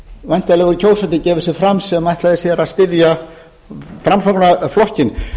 væntanlegur kjósandi gefið sig fram sem ætlaði sér að styðja framsóknarflokkinn